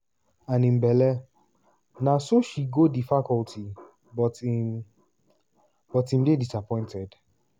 and im belle na so she go di facility but im but im dey disappointed.